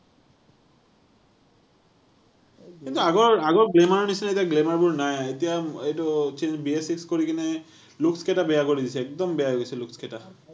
কিন্তু আগৰ, আগৰ glamour নিচিনা এতিয়া glamour বোৰ নাই। এতিয়া এইটো gear shift কৰিকেনে looks কেইটা বেয়া কৰি দিছে, একদম বেয়া হৈ গৈছে looks কেইটা।